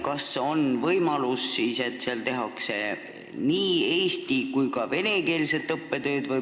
Kas on võimalus, et seal hakkab õppetöö toimuma nii eesti kui ka vene keeles?